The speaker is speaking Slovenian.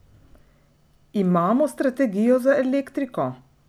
Imamo strategijo za elektriko?